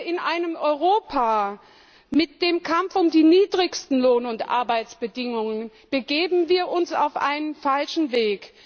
In einem Europa des Kampfes um die niedrigsten Lohn und Arbeitsbedingungen begeben wir uns auf den falschen Weg.